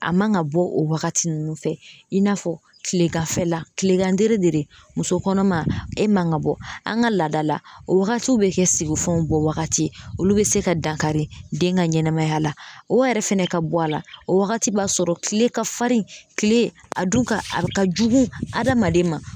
A man ka bɔ o wagati nunnu fɛ i n'a fɔ kileganfɛla kilegan dere dere de muso kɔnɔma e man ka bɔ an ga laada la o wagati be kɛ sigi fɛnw bɔ wagati olu be se ka dankari den ka ɲɛnɛmaya la o yɛrɛ fɛnɛ ka bɔ a la o wagati b'a sɔrɔ tkle ka farin kile a dun ka a ka jugu adamaden ma